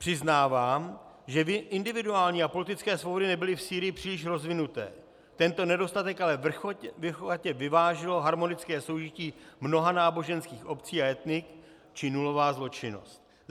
Přiznávám, že individuální a politické svobody nebyly v Sýrii příliš rozvinuté, tento nedostatek ale vrchovatě vyvážilo harmonické soužití mnoha náboženských obcí a etnik či nulová zločinnost.